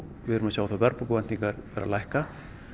við erum að sjá að verðbólguvæntingar eru að lækka